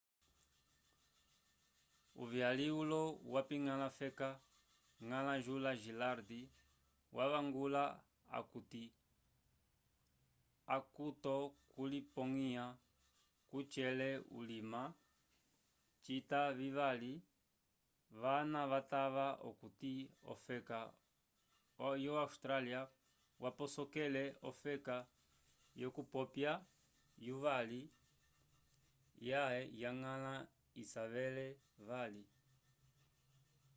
uvyali ulo wapiñgala feka ngala jula gillard wavangula acutokulipongwya kucela ulima cita vivali vana vatava okuti ofeka o awstralya yaposokele ofeka k'okupwa yuvyali ya ngala isavele vali